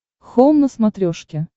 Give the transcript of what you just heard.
хоум на смотрешке